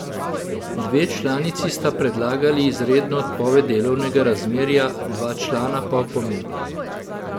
Dve članici sta predlagali izredno odpoved delovnega razmerja, dva člana pa opomin.